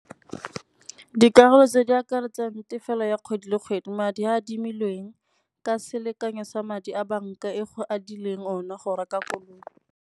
Dikarolo tse di akaretsang tefelo ya kgwedi le kgwedi madi a adimilweng ka selekanyo sa madi a banka e go adilweng ona go reka koloi.